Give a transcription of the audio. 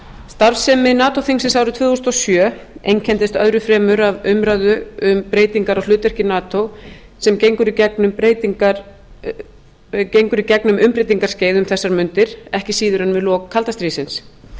starfsemi nato þingsins árið tvö þúsund og sjö einkenndist öðru fremur af umræðu um breytingar á hlutverki nato sem gengur í gegnum umbreytingaskeið um þessar mundir ekki síður en við lok kalda stríðsins